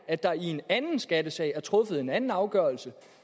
at der i en anden skattesag er truffet en anden afgørelse